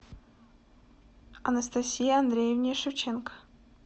анастасии андреевне шевченко